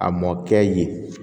A mɔkɛ yen